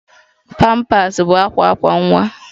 Pampas bụ akwa akwa nwa